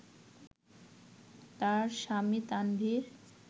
তার স্বামী তানভীর